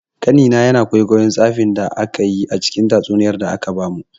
Ƙanina yana kwaikwayon tsafin da akayi a cikin tatsuniyar da aka bamu.